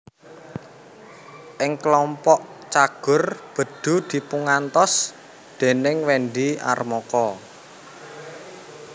Ing klompok Cagur Bedu dipungantos déning Wendy Armoko